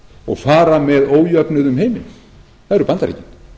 og fara með ójöfnuð um heiminn það eru bandaríkin